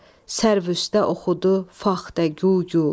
sərv üstə oxudu faxtə gu gu.